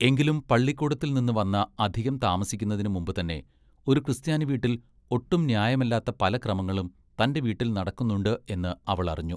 എങ്കിലും പള്ളിക്കൂടത്തിൽനിന്ന് വന്ന അധികം താമസിക്കുന്നതിന് മുമ്പ് തന്നേ ഒരു ക്രിസ്ത്യാനി വീട്ടിൽ ഒട്ടും ന്യായമല്ലാത്ത പല ക്രമങ്ങളും തന്റെ വീട്ടിൽ നടക്കുന്നുണ്ട് എന്ന് അവൾ അറിഞ്ഞു.